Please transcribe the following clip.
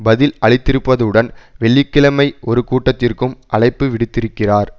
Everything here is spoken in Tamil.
பதில் அளித்திருப்பதுடன் வெள்ளி கிழமை ஒரு கூட்டத்திற்கும் அழைப்பு விடுத்திருக்கிறார்